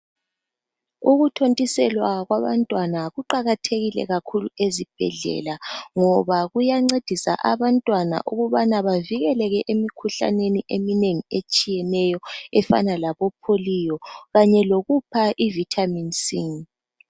Ukuthontiselwa kwabantwana kuqakathekile kakhulu ezibhedlela ngoba kuyancedisa abantwana ukubana bavikeleke emikhuhlaneni eminengi etshiyeneyo enjengabo polio kanye lokupha vitamin c.